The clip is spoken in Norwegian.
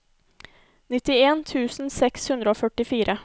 nittien tusen seks hundre og førtifire